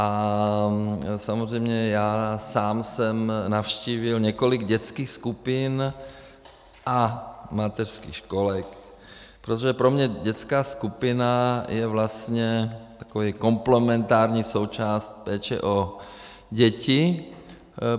A samozřejmě já sám jsem navštívil několik dětských skupin a mateřských školek, protože pro mě dětská skupina je vlastně takovou komplementární součástí péče o děti.